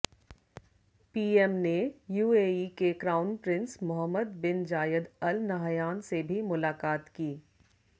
PM ने UAE के crown prince Mohammed bin Zayed Al Nahyan से भी मुलाकात की